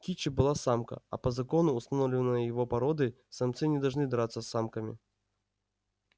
кичи была самка а по закону установленному его породой самцы не должны драться с самками